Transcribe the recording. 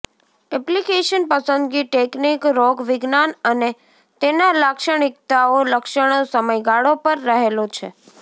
application પસંદગી technique રોગવિજ્ઞાન અને તેના લાક્ષણિકતાઓ લક્ષણો સમયગાળો પર રહેલો છે